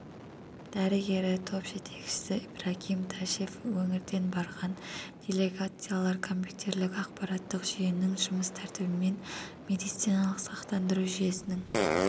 дрігері топ жетекшісі ибрагим ташев өңірден барған делегациялар компютерлік-ақпараттық жүйенің жұмыс тәртібімен медициалық сақтандыру жүйесінің